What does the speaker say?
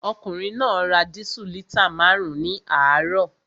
Ọkùnrin náà ra dísù lítà márùn-ún ní àárọ̀